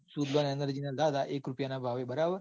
suzlon energy ના લીધા હતા. એક રૂપિયાં ભાવે બરાબર